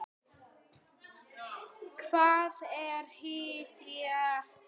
Hvað er hið rétta?